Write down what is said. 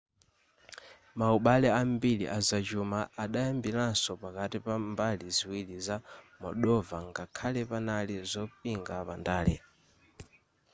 maubale ambiri azachuma adayambiranso pakati pa mbali ziwiri za moldova ngakhale panali zopinga pandale